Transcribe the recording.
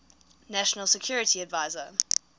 national security advisor